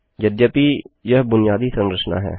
यद्यपि यह बुनियादी संरचना है